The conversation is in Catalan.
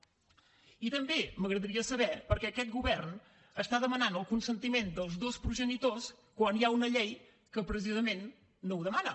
i també m’agradaria saber per què aquest govern demana el consentiment de tots dos progenitors quan hi ha una llei que precisament no ho demana